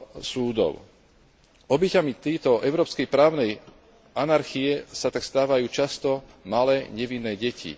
súdov. Obeťami tejto európskej právnej anarchie sa tak stávajú často malé, nevinné deti.